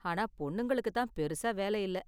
ஆனா பொண்ணுங்களுக்கு தான் பெருசா வேலை இல்ல.